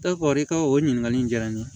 E ko i ka o ɲininkali in diyara n ye